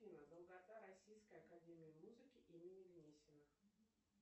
афина долгота российской академии музыки имени гнесиных